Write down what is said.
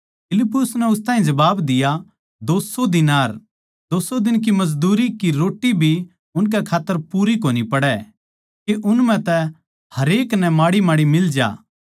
फिलिप्पुस नै उस ताहीं जबाब दिया दो सौ दीनार 200 दिन की मजदूरी की रोट्टी भी उन खात्तर पूरी कोनी पड़ै के उन म्ह तै हरेक नै माड़ीमाड़ी मिल जा